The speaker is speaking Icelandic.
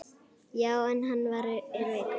Já, en hann er veikur